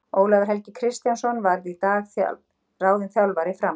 Ólafur Helgi Kristjánsson var í dag ráðinn þjálfari Fram.